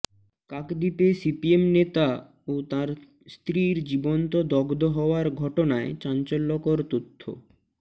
কাকদ্বীপে CPM নেতা ও তাঁর স্ত্রীর জীবন্ত দগ্ধ হওয়ার ঘটনায় চাঞ্চল্যকর তথ্য